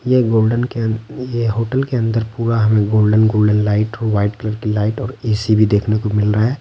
ये एक गोल्डन के अं ये होटल के अंदर पूरा हमें गोल्डन - गोल्डन लाइट और वाइट कलर की लाइट और ए‌‌‌‌‌ ‌_सी भी देखने को मिल रहा है।